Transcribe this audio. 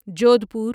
Jodhpur